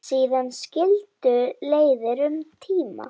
Síðan skildu leiðir um tíma.